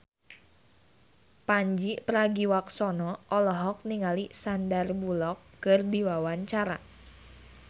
Pandji Pragiwaksono olohok ningali Sandar Bullock keur diwawancara